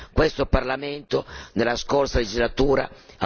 Non vorremmo che si continuasse su questa strada.